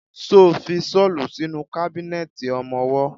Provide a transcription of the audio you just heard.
Ṣo fi ṣọ́lù sínú kábínẹ̀tì ọmọwọ́?